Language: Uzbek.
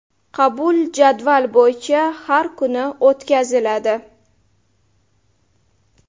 Qabul jadval bo‘yicha har kuni o‘tkaziladi.